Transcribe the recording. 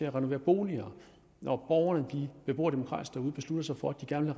at renovere boliger når borgerne beboerdemokratisk derude beslutter sig for at de gerne